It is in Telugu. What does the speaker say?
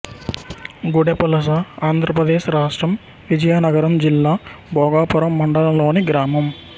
గుడెపువలస ఆంధ్ర ప్రదేశ్ రాష్ట్రం విజయనగరం జిల్లా భోగాపురం మండలం లోని గ్రామం